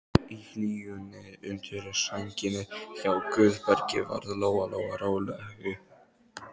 Í hlýjunni undir sænginni hjá Guðbergi varð Lóa Lóa rólegri.